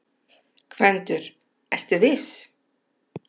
GVENDUR: Ertu viss?